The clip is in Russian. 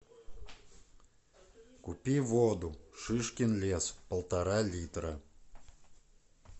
купи воду шишкин лес полтора литра